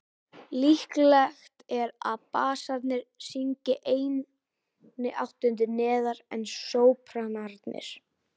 Líklegt er að bassarnir syngi einni áttund neðar en sópranarnir.